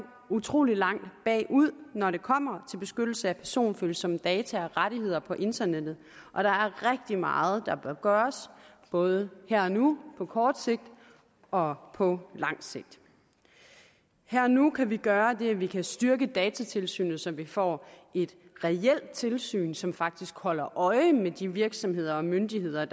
utrolig langt bagud når det kommer til beskyttelse af personfølsomme data og rettigheder på internettet og der er rigtig meget der bør gøres både her og nu på kort sigt og på lang sigt her og nu kan vi gøre det at vi kan styrke datatilsynet så vi får et reelt tilsyn som faktisk holder øje med de virksomheder og myndigheder